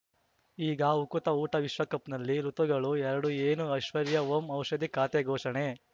ಈಗ ಉಕುತ ಊಟ ವಿಶ್ವಕಪ್‌ನಲ್ಲಿ ಋತುಗಳು ಎರಡು ಏನು ಐಶ್ವರ್ಯಾ ಓಂ ಔಷಧಿ ಖಾತೆ ಘೋಷಣೆ